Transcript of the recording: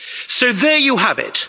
So there you have it.